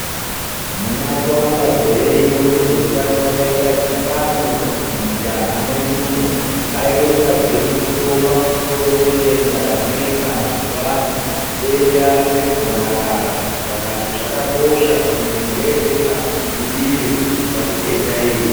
Muna Kuwamba gore rjno wezveutano wakaita dhibano mumutanha mwedumwo. Vaironza gwinyiso pamusoro pedenda ranetsa mwazuwano, denda regomarara. Vakati zvakakosha kuti muntu weshe azvidzivirire kubva kudenda iri.